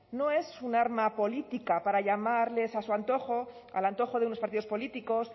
no es un arma política para llamarles a su antojo al antojo de unos partidos políticos